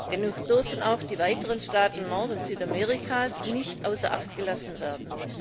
Dennoch dürfen auch die weiteren Staaten Nord und Südamerikas nicht außer Acht gelassen werden.